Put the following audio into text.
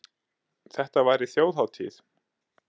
Þetta væri þjóðhátíð.